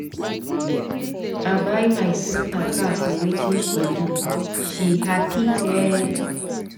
I buy my sister car for wetin she do, she happy ee.